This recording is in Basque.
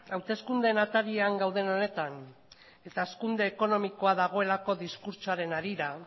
hauteskundeen atarian gauden honetan eta hazkunde ekonomikoa dagoelako diskurtsoaren harira